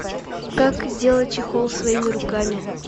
как сделать чехол своими руками